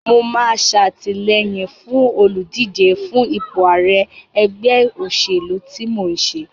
Mo máa ṣatìlẹyìn fún olùdíje fún ipò ààrẹ ẹgbẹ́ òṣèlú tí mò ń ṣe.